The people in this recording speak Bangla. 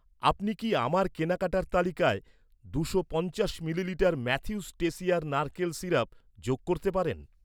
আপনি কি আমার কেনাকাটার তালিকায় দুশো পঞ্চাশ মিলিলিটার ম্যাথিউস টেসিয়ার নারকেলের সিরাপ যোগ করতে পারেন?